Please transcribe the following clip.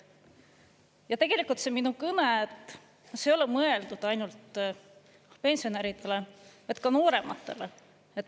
Ja tegelikult see minu kõne ei ole mõeldud ainult pensionäridele, vaid ka noorematele.